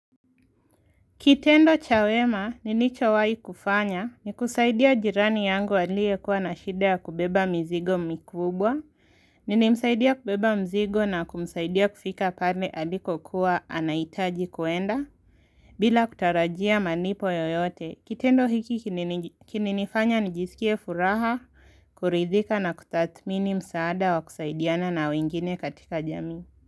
Kitendo cha wema nilicho wai kufanya nikusaidia jirani yangu alie kuwa na shida kubeba mizigo mikubwa. Nili msaidia kubeba mzigo na kumsaidia kufika pande aliko kuwa anaitaji kuenda. Bila kutarajia manipo yoyote, kitendo hiki kinini nifanya nijisikie furaha, kuridhika na kutatmini msaada wa kusaidiana na wengine katika jami.